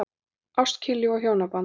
ÁST, KYNLÍF OG HJÓNABAND